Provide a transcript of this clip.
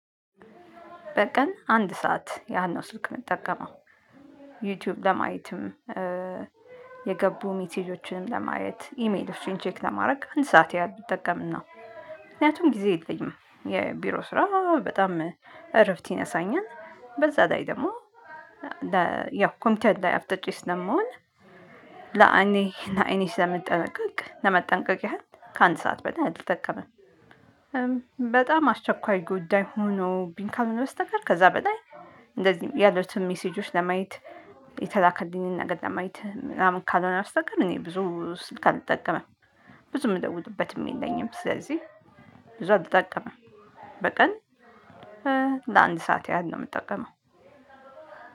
በቀን አንድ ሰዓት ያነው ስልክ የምጠቀመው ዩቲዩብ ለማየትም የገቡ ሜሴጆችንም ለማየት ኢሜሎችን ቼክ ለማድረግ አንድ ሰዓት ያህል ብትጠቀም ነው። ምክንያቱም ጊዜ የለኝም የቢሮ ስራ በጣም እረፍት ይነሳኛል በዛ ዳይ ደግሞ ያው ኮምቢተር ላይ አፍጥጬ ስለምውል ለአኔ እና አይኔ ስለመጠበቅ ለመጠንቀቅ ያህል ከአንድ ሰዓት በላይ አልጠቀምም። በጣም አስቸኳይ ጉዳይ ሆኖብኝ ካልሆነ በስተቀር ከዛ በላይ እንደዚህ ያሉትን ሚሴጆች ለማየት የተላከልኝን ነገር ለማየት ምናምን ካልሆነ በስተቀር እኔ ብዙ ስልክ አልጠቀምም። ብዙ ምደውልበትም የለኝም ስለዚህ ብዙ አልጠምም። በቀን ለአንድ ሰዓት ያህል ነው የምጠቀመው።